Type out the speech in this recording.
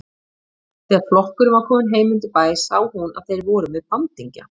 Þegar flokkurinn var kominn heim undir bæ sá hún að þeir voru með bandingja.